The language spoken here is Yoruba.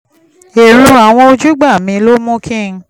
èrò àwọn ojúgbà mi ló mú kí n